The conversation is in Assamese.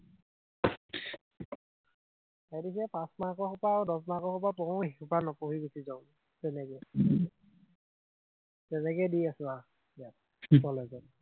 সেইটো কি পাঁচ মাৰ্কৰ সোপা আৰু দহ মাৰ্কৰ সোপা পঢ়ো, সিসোপা নপঢ়ি গুচি যাও, তেনেকেই, উম তেনেকেই দি আছো আৰু এতিয়া কলেজত